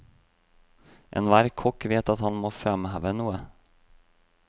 Enhver kokk vet at han må fremheve noe.